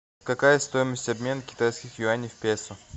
какая стоимость обмена китайских юаней в песо